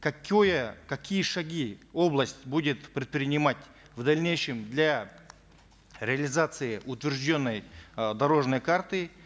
какое какие шаги область будет предпринимать в дальнейшем для реализации утвержденной э дорожной карты